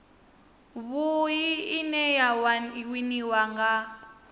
vhui ine ya winiwa nga